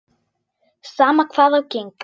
Sama hvað á gengur.